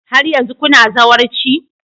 Har yanzu kuna zawarci?